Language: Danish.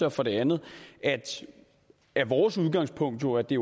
og for det andet er vores udgangspunkt jo at de